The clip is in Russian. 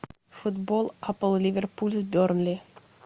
футбол апл ливерпуль с бернли